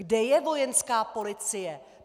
Kde je Vojenská policie?